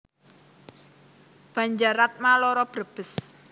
Banjaratma loro Brebes